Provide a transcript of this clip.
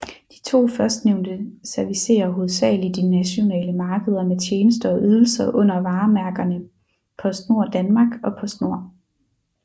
De to førstnævnte servicerer hovedsagelig de nationale markeder med tjenester og ydelser under varemærkerne PostNord Danmark og Postnord